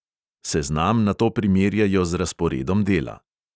Seznam nato primerjajo z razporedom dela.